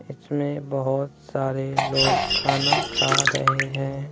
इसमें बहोत सारे लोग खाना खा रहे है।